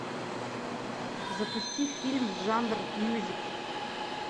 запусти фильм жанр мюзикл